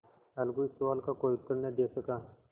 अलगू इस सवाल का कोई उत्तर न दे सका